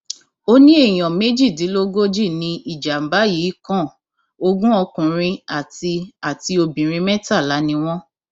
ó ní èèyàn méjìdínlógójì ni ìjàmbá yìí kan ogún ọkùnrin àti àti obìnrin mẹtàlá ni wọn